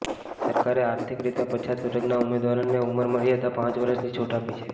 સરકારે આર્થિક રીતે પછાત વર્ગના ઉમેદવારોને ઉંમર મર્યાદામાં પાંચ વર્ષની છૂટ આપી છે